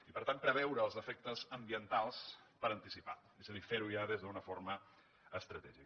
i per tant preveure els efectes ambientals per anticipat és a dir fer ho ja des d’una forma estratègica